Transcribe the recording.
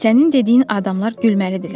Sənin dediyin adamlar gülməlidir.